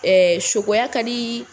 Ɛɛ sokoya ka di